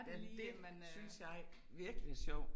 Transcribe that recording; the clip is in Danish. Ja, det synes jeg virkelig er sjov